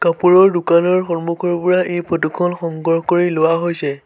কাপোৰৰ দোকানৰ সন্মুখৰ পৰা এই ফটো খন সংগ্ৰহ কৰি লোৱা হৈছে।